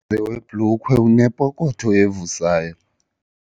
Lo mlenze webhulukhwe unepokotho evuzayo.